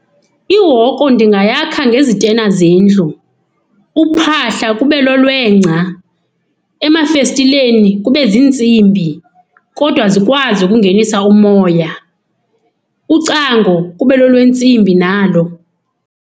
Ihoko ndingayakha ngezitena zendlu. Uphahla kube lolwengca. Emafestilenii kube zintsimbi, kodwa zikwazi ukungenisa umoya. Ucango kube lolwentsimbi nalo.